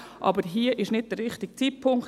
Aber hier ist es nicht der richtige Zeitpunkt;